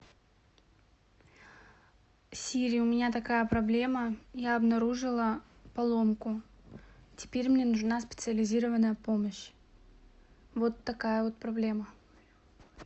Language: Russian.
сири у меня такая проблема я обнаружила поломку теперь мне нужна специализированная помощь вот такая вот проблема